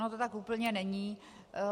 Ono to tak úplně není.